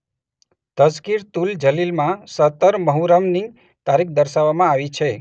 તઝકિરતુલ જલીલમાં સત્તર મુહર્રમની તારીખ દર્શાવવામાં આવી છે.